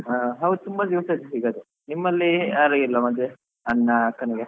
ಹಾ ಹೌದ್ ತುಂಬಾ ದಿವಸ ಆಯ್ತು ಸಿಗದೇ, ನಿಮ್ಮಲ್ಲಿ ಯಾರಿಗೆ ಇಲ್ವಾ ಮದುವೆ ಅಣ್ಣ ಅಕ್ಕನಿಗೆ?